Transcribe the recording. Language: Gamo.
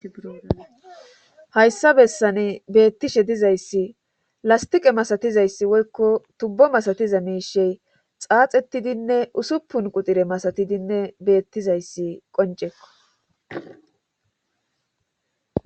Hayssa bessane beettishe dizayssi lastiqe masatizayssi woykko tubbo masatiza miishey xaaxettidinne usuppun qutire masatidinne beettizayssi qoncekko.